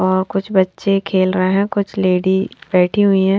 और कुछ बच्चे खेल रहे हैं कुछ लेडी बैठी हुई है।